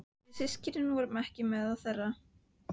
Við systurnar vorum ekki meðal þeirra.